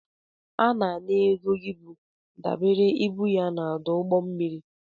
A na-ana ego ibu dabere na ibu ya n'ọdụ ụgbọ mmiri.